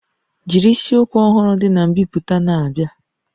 Jiri isiokwu ọhụrụ dị na mbipụta na-abịa